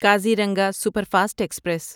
Kaziranga superfast express